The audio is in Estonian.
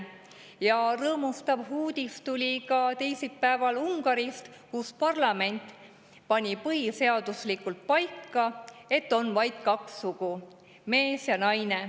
Ja rõõmustav uudis tuli teisipäeval ka Ungarist, kus parlament pani põhiseaduslikult paika, et on vaid kaks sugu, mees ja naine.